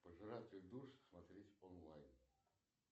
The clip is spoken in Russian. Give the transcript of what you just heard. пожиратель душ смотреть онлайн